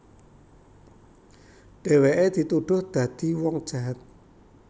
Dhèwèké dituduh dadi wong jahat